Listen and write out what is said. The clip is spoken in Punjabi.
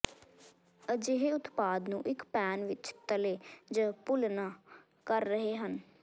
ਅਜਿਹੇ ਉਤਪਾਦ ਨੂੰ ਇੱਕ ਪੈਨ ਵਿੱਚ ਤਲੇ ਜ ਭੁੰਲਨਆ ਕਰ ਰਹੇ ਹਨ